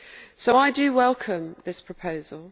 So I do welcome this proposal.